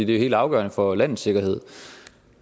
det er helt afgørende for landets sikkerhed og